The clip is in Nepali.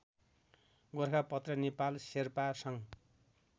गोरखापत्र नेपाल शेर्पा सङ्घ